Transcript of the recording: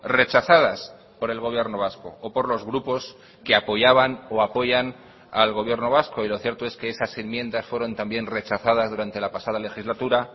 rechazadas por el gobierno vasco o por los grupos que apoyaban o apoyan al gobierno vasco y lo cierto es que esas enmiendas fueron también rechazadas durante la pasada legislatura